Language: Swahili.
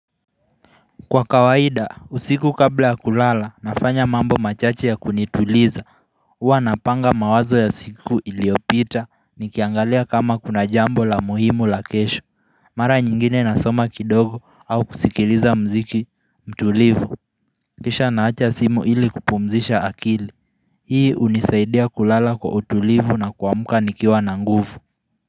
Kwa kawaida, usiku kabla ya kulala, nafanya mambo machache ya kunituliza hUwa napanga mawazo ya siku iliyopita, nikiangalia kama kuna jambo la muhimu la kesho Mara nyingine nasoma kidogo au kusikiliza mziki mtulivu Kisha naacha simu ili kupumzisha akili Hii hunisaidia kulala kwa utulivu na kuamka nikiwa na nguvu.